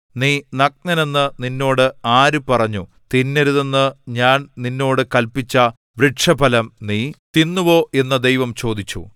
നീ നഗ്നനെന്നു നിന്നോട് ആര് പറഞ്ഞു തിന്നരുതെന്ന് ഞാൻ നിന്നോട് കല്പിച്ച വൃക്ഷഫലം നീ തിന്നുവോ എന്നു ദൈവം ചോദിച്ചു